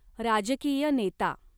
राजकीय नेता